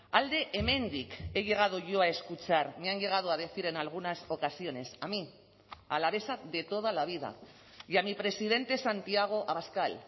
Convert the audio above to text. alde hemendik he llegado yo a escuchar me han llegado a decir en algunas ocasiones a mí alavesa de toda la vida y a mi presidente santiago abascal